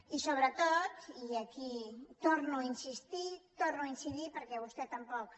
i sobretot i aquí hi torno a insistir hi torno a incidir perquè vostè tampoc